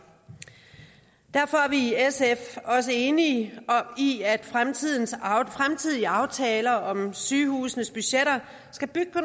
derfor er vi i sf også enige i at fremtidige fremtidige aftaler om sygehusenes budgetter skal bygge på